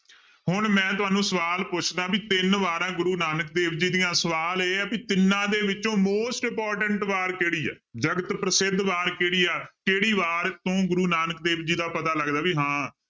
ਹੁੁਣ ਮੈਂ ਤੁਹਾਨੂੰ ਸਵਾਲ ਪੁੱਛਦਾ ਵੀ ਤਿੰਨ ਵਾਰਾਂ ਗੁਰੂਆਂ ਨਾਨਕ ਦੇਵ ਜੀ ਦੀਆਂ ਸਵਾਲ ਇਹ ਆ ਵੀ ਤਿੰਨਾਂ ਦੇ ਵਿੱਚੋਂ most important ਵਾਰ ਕਿਹੜੀ ਹੈ ਜਗਤ ਪ੍ਰਸਿੱਧ ਵਾਰ ਕਿਹੜੀ ਹੈ, ਕਿਹੜੀ ਵਾਰ ਤੋਂ ਗੁਰੂ ਨਾਨਕ ਦੇਵ ਜੀ ਦਾ ਪਤਾ ਲੱਗਦਾ ਵੀ ਹਾਂਂ